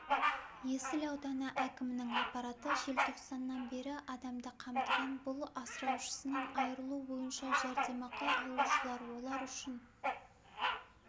есіл ауданы әкімінің аппараты желтоқсаннан бері адамды қамтыған бұл асыраушысынан айырылу бойынша жәрдемақы алушылар олар үшін